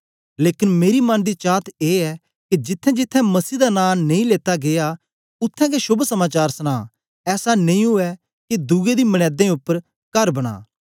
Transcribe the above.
लेकन मेरी मन दी चात ए ऐ के जिथेंजिथें मसीह दा नां नेई लेता गीया उत्थें गै शोभ समाचार सुनां ऐसा नेई उवै के दुए दी मनेंदें उपर कार बनां